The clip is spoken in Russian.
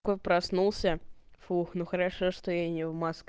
кой проснулся фух ну хорошо что я не в маск